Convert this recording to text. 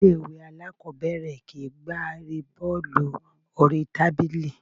Ilé ìwé aláàkọ́bẹ̀rẹ̀ kìí gbá Erée bọ́ọ́lù oríi tábìlì.